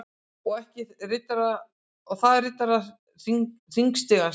Og ekki bara þaðRiddarar_hringstigans